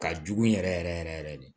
Ka jugu yɛrɛ yɛrɛ yɛrɛ de